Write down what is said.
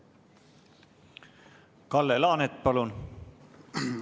Kalle Laanet, palun!